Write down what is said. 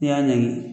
I y'a ɲɛɲini